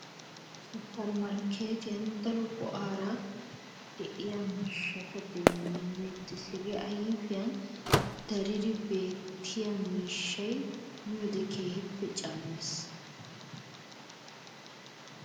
Suppermarkkeetiyan daro go''aara de'iya miishshata demmeettees. He ayfiyan daridi beettiya miishshay miyode keehippe cammees.